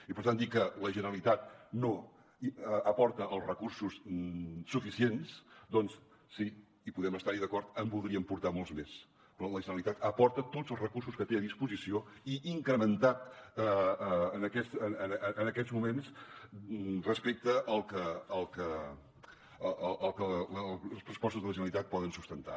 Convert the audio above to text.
i per tant dir que la generalitat no aporta els recursos suficients doncs sí hi podem estar d’acord en voldríem aportar molts més però la generalitat aporta tots els recursos que té a disposició i incrementat en aquests moments respecte al que els pressupostos de la generalitat poden sustentar